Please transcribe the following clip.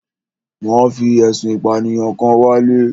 Wọ́n fi ẹ̀sùn ìpànìyàn kan wálé.